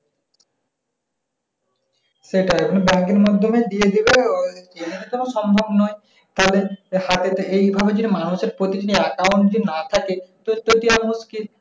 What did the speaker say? সেটা মানে bank এর মাধ্যমে দিয়ে দিলে ওই এমনি তো মানে সম্ভব নয়। তাহলে হাটেতে এইভাবে যে মানুষের প্রতিটি account যদি না থাকে।